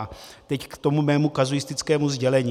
A teď k tomu mému kazuistickému sdělení.